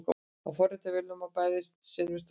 að forrita á vélarmáli er bæði seinvirkt og erfitt